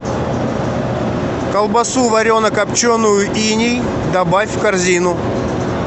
колбасу варено копченую иней добавь в корзину